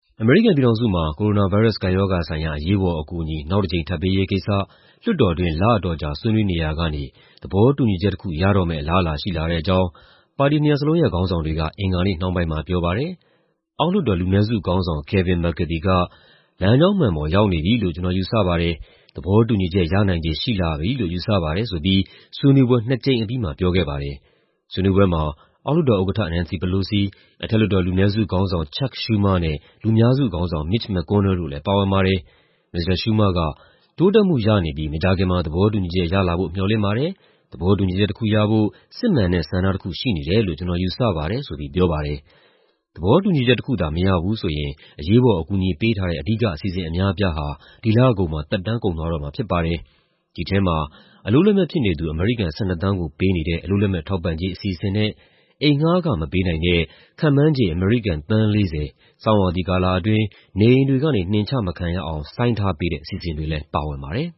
အမေရိကန်ပြည်ထောင်စုမှာ ကိုရိုနာဗိုင်းရပ်စ် ကပ်ရောဂါဆိုင်ရာ အရေးပေါ်အကူအညီ နောက်တကြိမ် ထပ်ပေးရေးကိစ္စ လွှတ်တော်တွင်း လအတော်ကြာ ဆွေးနွေးနေရာကနေ သဘောတူညီချက်တခု ရတော့မယ့် အလားအလာရှိလာတဲ့အကြောင်း ပါတီနှစ်ရပ်လုံးရဲ့ ခေါင်းဆောင်တွေက အင်္ဂါနေ့နှောင်းပိုင်းမှာပြောပါတယ်။ အောက်လွှတ်တော် လူနည်းစုခေါင်းဆောင် Kevin McCarthy က "လမ်းကြောင်းမှန်ပေါ် ရောက်နေပြီလို့ ကျနော်ယူဆပါတယ်၊ သဘောတူညီချက် ရနိုင်ခြေရှိလာပြီလို့ ယူဆပါတယ်။" ဆိုပြီး ဆွေးနွေးပွဲ နှစ်အကြိမ်အပြီးမှာ ပြောခဲ့ပါတယ်။ ဆွေးနွေးပွဲမှာ အောက်လွှတ်တော်ဥက္ကဋ္ဌ Nancy Pelosi ၊ အထက်လွှတ်တော် လူနည်းစုခေါင်းဆောင် Chuck Schumer နဲ့ လူများစုခေါင်းဆောင် Mitch McConnell တို့လည်း ပါဝင်ပါတယ်။ မစ္စတာ Schumer က "တိုးတက်မှုရနေပြီး မကြာခင်မှာ သဘောတူညီချက်ရလာဖို့ မေ ျှာ်လင့်ပါတယ်။ သဘောတူညီချက်တခုရဖို့ စစ်မှန်တဲ့ ဆန္ဒတခုရှိနေတယ်လို့ ကျနော်ယူဆပါတယ်။" ဆိုပြီး ပြောပါတယ်။ သဘောတူညီချက်တခုသာ မရဘူးဆိုရင် အရေးပေါ် အကူအညီပေးထားတဲ့ အဓိက အစီအစဉ် အများအပြားဟာ ဒီလကုန်မှာ သက်တမ်းကုန်သွားမှာဖြစ်ပါတယ်။ ဒီထဲမှာ အလုပ်လက်မဲ့ဖြစ်နေသူ အမေရိကန် ၁၂ သန်းကို ပေးနေတဲ့ အလုပ်လက်မဲ့ထောက်ပံ့ကြေး အစီအစဉ်နဲ့ အိမ်ငှားခမပေးနိုင်တဲ့ ခန့်မှန်းခြေ အမေရိကန် သန်း ၄၀ ဆောင်းရာသီကာလအတွင်း နေအိမ်တွေကနေ နှင်ချမခံရအောင် ဆိုင်းထားပေးတဲ့ အစီအစဉ်တွေလည်း ပါဝင်ပါတယ်